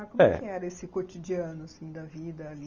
Ah, como é que era esse cotidiano assim da vida ali?